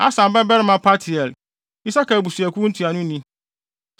Asan babarima Paltiel, Isakar abusuakuw ntuanoni;